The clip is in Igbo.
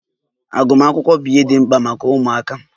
Agụmakwụkwọ bụ ihe dị mkpa maka ụmụaka.